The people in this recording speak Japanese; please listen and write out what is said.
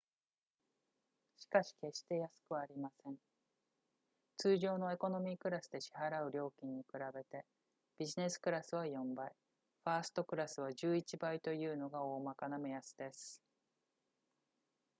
しかし決して安くはありません通常のエコノミークラスで支払う料金に比べてビジネスクラスは4倍ファーストクラスは11倍というのが大まかな目安です